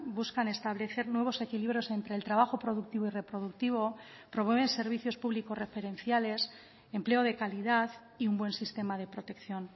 buscan establecer nuevos equilibrios entre el trabajo productivo y reproductivo promueven servicios públicos referenciales empleo de calidad y un buen sistema de protección